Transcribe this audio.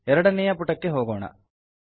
ಎರಡನೆಯ ಪುಟಕ್ಕೆ ಹೋಗೋಣ